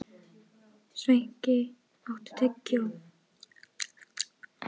Sveinki, áttu tyggjó?